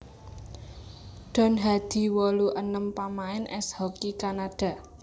Don Hadi wolu enem pamain ès hoki Kanada